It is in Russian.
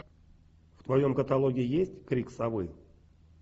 в твоем каталоге есть крик совы